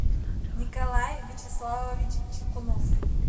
николай вячеславович чекунов